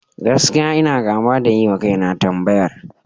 Gaskiya, ina gaba da yiwa kaina tambayar.